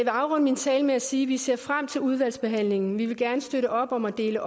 afrunde min tale med at sige at vi ser frem til udvalgsbehandlingen vi vil gerne støtte op om at opdele